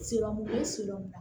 Sirɔmu siri la